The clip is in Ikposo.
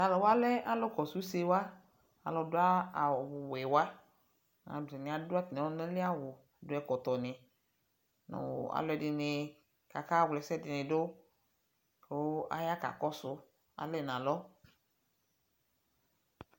talʋ wa lɛ alʋ kɔsʋ ʋsɛ wa, alʋ dʋ awʋ wɛ wa, atani adʋ atami ɔlʋna li awʋ dʋ ɛkɔtɔ ni nʋ alʋɛdini kʋ aka wla ɛsɛ dini dʋ kʋ aya kakɔsʋ, ali nʋ alɔ.